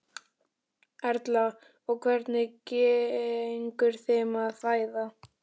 Erla: Og hvernig gengur þeim að fæða?